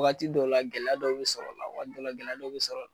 Wagati dɔw la gɛlɛya dɔw be sɔrɔ a la wagati dɔw gɛlɛya dɔw be sɔrɔ